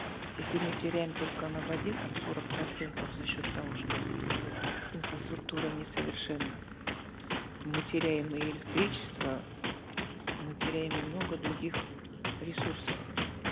если мы теряем только на воде там сорок процентов за счет того что инфраструктура несовершенна мы теряем и электричество мы теряем и много других ресурсов